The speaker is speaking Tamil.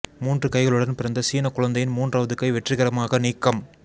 மூன்று கைகளுடன் பிறந்த சீனக் குழந்தையின் மூன்றாவது கை வெற்றிகரமாக நீக்கம்